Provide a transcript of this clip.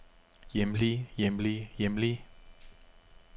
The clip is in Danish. hjemlige hjemlige hjemlige